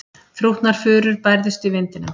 Þrútnar furur bærðust í vindinum.